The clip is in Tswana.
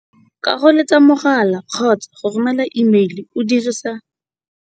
ka go letsa mogala kgotsa go romela imeile o dirisa